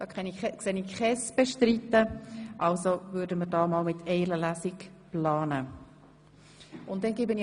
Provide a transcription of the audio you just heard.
Dann planen wir jetzt einmal mit einer einzigen Lesung.